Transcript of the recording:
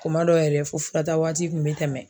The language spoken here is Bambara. Kuma dɔw yɛrɛ fɔ fura ta waati kun bɛ tɛmɛ.